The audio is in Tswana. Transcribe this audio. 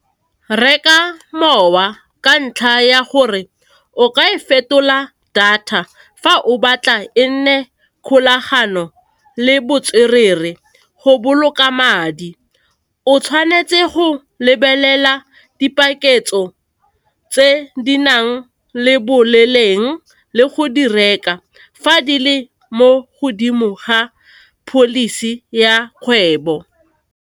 Reka mowa ka ntlha ya gore o ka e fetola data fa o batla e nne kgolagano le botswerere go boloka madi. O tshwanetse go lebelela dipakentso tse di nang le boleng le go di reka fa di le mo godimo ga policy ya kgwebo.